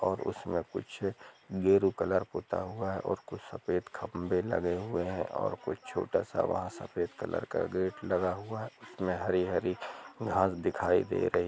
और उसमें कुछ गेरू कलर पुता हुआ है और कुछ सफेद खंभे लगे हुए हैं और कुछ छोटा सा वहां सफेद कलर का गेट लगा हुआ है उसमें हरी हरी घास दिखाई दे रही--